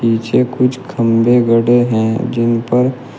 पीछे कुछ खंभे गड़े हैं जिन पर--